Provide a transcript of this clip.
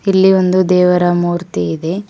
ಇಲ್ಲಿ ಒಂದು ದೇವರ ಮೂರ್ತಿ ಇದೆ.